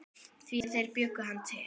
Því þeir bjuggu hann til.